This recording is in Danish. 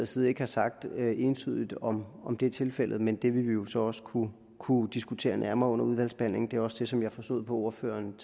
side ikke har sagt entydigt om om det er tilfældet men det vil vi jo så også kunne kunne diskutere nærmere under udvalgsbehandlingen det er også det som jeg tidligere forstod på ordføreren